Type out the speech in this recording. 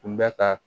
Tun bɛ ka